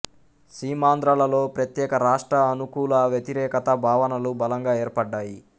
సీమాంధ్రలలో ప్రత్యేక రాష్ట్ర అనుకూల వ్యతిరేక భావనలు బలంగా ఏర్పడ్డాయి